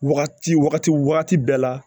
Wagati wagati wagati bɛɛ la